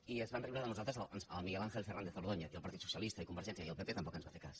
i es va riure de nosaltres el miguel àngel fernández ordóñez i el partit socialista i convergència i el pp tampoc ens va fer cas